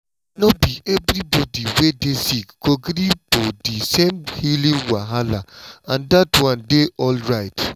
no be everybody wey dey sick go gree for di same healing wahala and dat one dey alright.